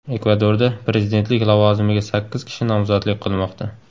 Ekvadorda prezidentlik lavozimiga sakkiz kishi nomzodlik qilmoqda.